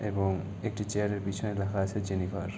এবং একটি চেয়ার -এর পেছনে লেখা আছে জেনিফার --